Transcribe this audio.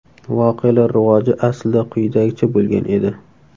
Voqealar rivoji aslida quyidagicha bo‘lgan edi.